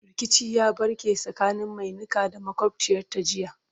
rikici ya ɓarke tsakanin Mai Niƙa da makwabciyarta jiya